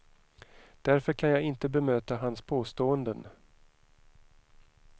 Därför kan jag inte bemöta hans påståenden.